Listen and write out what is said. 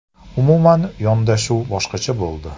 Umuman yondashuv boshqacha bo‘ldi.